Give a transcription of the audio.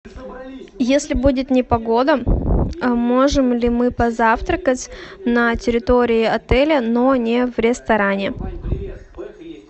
если будет непогода можем ли мы позавтракать на территории отеля но не в ресторане